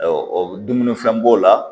dumunifɛn b'o la